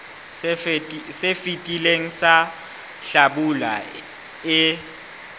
se fetileng sa hlabula e